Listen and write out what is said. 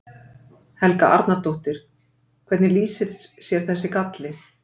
Helga Arnardóttir: Hvernig lýsir sér þessi galli?